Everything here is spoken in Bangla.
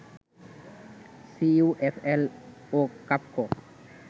সিইউএফএল ও কাফকো